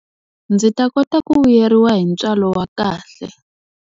Ndzi ta kota ku vuyeriwa hi ntswalo wa kahle.